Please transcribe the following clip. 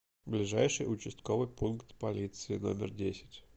ближайший участковый пункт полиции номер десять